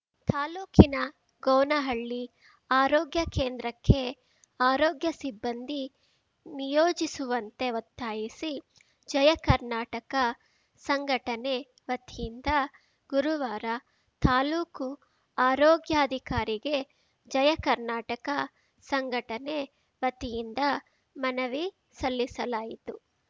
ತಾಲೂಕಿನ ಗೌನಹಳ್ಳಿ ಆರೋಗ್ಯ ಕೇಂದ್ರಕ್ಕೆ ಆರೋಗ್ಯ ಸಿಬ್ಬಂದಿ ನಿಯೋಜಿಸುವಂತೆ ಒತ್ತಾಯಿಸಿ ಜಯ ಕರ್ನಾಟಕ ಸಂಘಟನೆ ವತಿಯಿಂದ ಗುರುವಾರ ತಾಲೂಕು ಆರೋಗ್ಯಾಧಿಕಾರಿಗೆ ಜಯ ಕರ್ನಾಟಕ ಸಂಘಟನೆ ವತಿಯಿಂದ ಮನವಿ ಸಲ್ಲಿಸಲಾಯಿತು